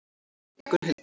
Gunnhildur